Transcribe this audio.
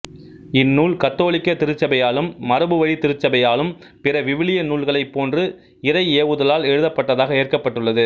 இந்நூல் கத்தோலிக்க திருச்சபையாலும் மரபுவழித் திருச்சபையாலும் பிற விவிலிய நூல்களைப் போன்று இறைஏவுதலால் எழுதப்பட்டதாக ஏற்கப்பட்டுள்ளது